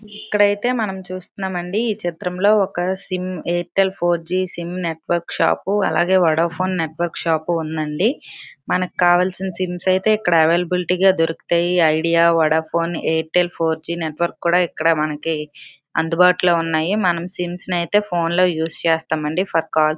ఎక్కడైతే మనం చూస్తున్నాం అండి ఈ చిత్రంలో ఒక sim Airtel four G sim network shop . అలాగే వోడాఫోన్ నెట్వర్క్ షాపు ఉందండి. మనకి కావాల్సిన సిమ్ములు అయితే ఇక్కడ అవైలబుల్ గా దొరుకుతాయి. ఐడియా వోడాఫోన్ఎయిట్ అండ్ ఫోర్ జి నెట్వర్క్ కూడా మనకి ఇక్కడ అందుబాటులో ఉన్నాయి. మనం సీన్స్ అయితే ఫోన్లో యూస్ చేస్తామంది.